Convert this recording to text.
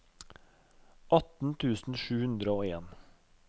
atten tusen sju hundre og en